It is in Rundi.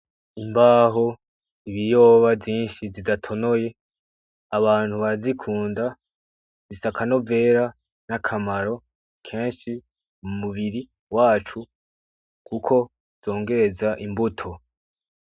Imbaho, ibiyoba vyinshi bidatonoye, abantu barazikunda, zifise akanovera n'akamaro kenshi mu mubiri wacu kuko zongereza imbuto.